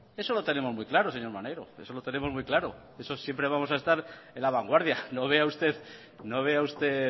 eso lo tenemos muy claro señor maneiro siempre vamos a estar en la vanguardia no vea usted